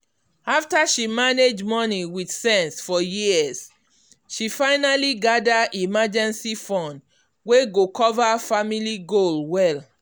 after she manage money with sense for years she finally gather emergency fund wey go cover family goal well.